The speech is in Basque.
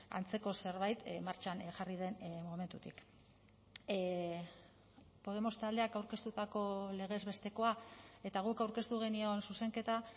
antzeko zerbait martxan jarri den momentutik podemos taldeak aurkeztutako legez bestekoa eta guk aurkeztu genion zuzenketa